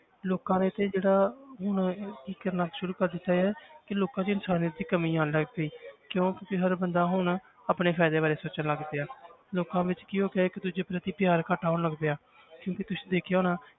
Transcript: ਲੋਕਾ ਨੇ ਤੇ ਜਿਹੜਾ ਹੁਣ ਕੀ ਕਰਨਾ ਸ਼ੁਰੂ ਕਰ ਦਿੱਤਾ ਹੈ ਕਿ ਲੋਕਾਂ 'ਚ ਇਨਸਾਨੀਅਤ ਦੀ ਕਮੀ ਆਉਣ ਲੱਗ ਪਈ ਕਿਉਂ ਕਿਉਂਕਿ ਹਰ ਬੰਦਾ ਹੁਣ ਆਪਣੇ ਫ਼ਾਇਦੇ ਬਾਰੇ ਸੋਚਣ ਲੱਗ ਪਿਆ ਲੋਕਾਂ ਵਿੱਚ ਕੀ ਹੋ ਗਿਆ ਇੱਕ ਦੂਜੇ ਪ੍ਰਤੀ ਪਿਆਰ ਘੱਟ ਹੋਣ ਲੱਗ ਪਿਆ ਕਿਉਂਕਿ ਤੁਸੀਂ ਦੇਖਿਆ ਹੋਣਾ